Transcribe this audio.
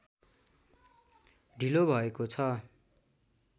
ढिलो भएको छ